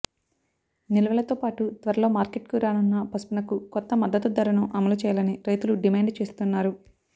నిల్వలతోపాటు త్వరలో మార్కెట్కు రానున్న పసుపునకూ కొత్త మద్దతు ధరను అమలు చేయాలని రైతులు డిమాండు చేస్తున్నారు